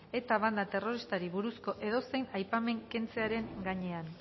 eta banda terroristari buruzko edozein aipamen kentzearen gainean